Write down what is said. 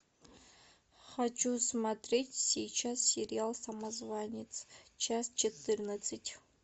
хочу смотреть сейчас сериал самозванец часть четырнадцать